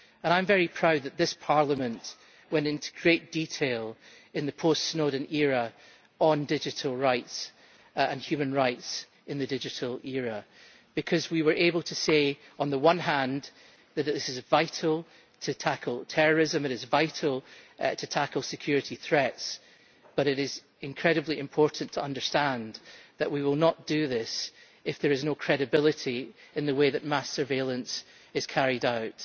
And I am very proud that this Parliament went into great detail in the post Snowden era on digital rights and human rights in the digital era, because we were able to say, on the one hand, that this is vital to tackle terrorism, it is vital to tackle security threats, but that it is incredibly important to understand that we will not do this if there is no credibility in the way that mass surveillance is carried out.